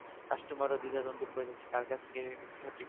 customer রা দ্বিধা দন্দে পড়ে যাচ্ছে যে কার কাছ থেকে সঠিক